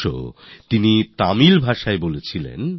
সুব্রহ্মণ্যম ভারতী তামিল ভাষায় বলেছিলেন